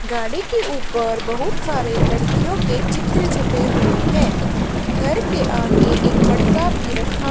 गाड़ी के ऊपर बहुत सारे लड़कियों के चित्र छपे हुए हैं घर के आगे एक मटका भी रखा--